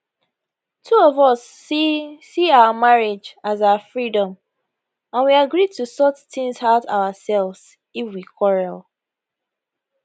two of us see see our marriage as our freedom and we agree to sort tins out ourselves if we quarrel